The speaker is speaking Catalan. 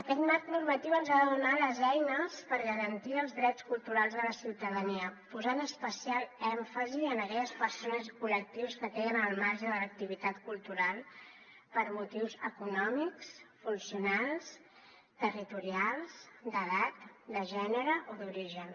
aquest marc normatiu ens ha de donar les eines per garantir els drets culturals de la ciutadania posant especial èmfasi en aquelles persones i col·lectius que queden al marge de l’activitat cultural per motius econòmics funcionals territorials d’edat de gènere o d’origen